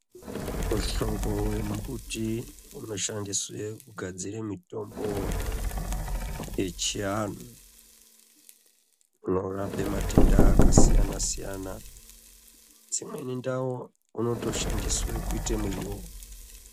Muhlobo wembiti inoshandiswe kugadzire mitombo yechianhu, inorape matenda akasiyana-siyana. Dzimweni ndau unotoshandiswe kuite muriwo.